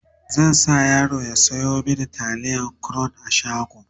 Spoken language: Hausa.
zan sa yaro ya Sayo mini taliyan crown a shago